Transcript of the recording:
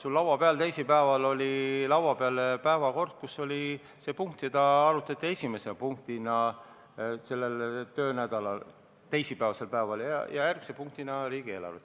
Sul oli teisipäeval laua peal päevakord, kus oli kirjas see punkt, mida arutati esimese punktina selle töönädala teisipäevasel päeval, ja järgmine punkt oli riigieelarve.